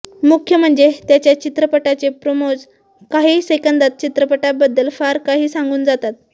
मुख्य म्हणजे त्याच्या चित्रपटाचे प्रोमोज काही सेकंदांत चित्रपटाबद्दल फार काही सांगून जातात